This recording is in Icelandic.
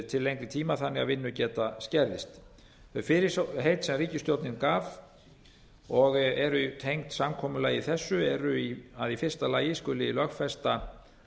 til lengri tíma þannig að vinnugeta skerðist fyrirheit sem ríkisstjórnin gaf og eru tengd samkomulagi þessu eru að í fyrsta lagi að skuli lögfesta